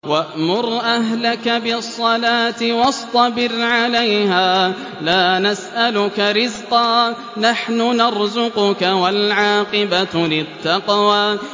وَأْمُرْ أَهْلَكَ بِالصَّلَاةِ وَاصْطَبِرْ عَلَيْهَا ۖ لَا نَسْأَلُكَ رِزْقًا ۖ نَّحْنُ نَرْزُقُكَ ۗ وَالْعَاقِبَةُ لِلتَّقْوَىٰ